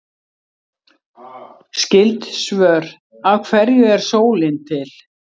Skyld svör: Af hverju er sólin til?